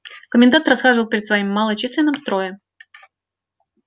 комендант расхаживал перед своим малочисленным строем